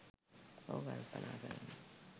ඔහු කල්පනා කරනවා